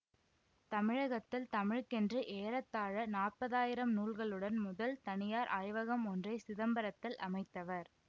தமிழகத்தில் தமிழுக்கென்று ஏறத்தாழ நாப்பதாயிரம் நூல்களுடன் முதல் தனியார் ஆய்வகம் ஒன்றை சிதம்பரத்தில் அமைத்தவர்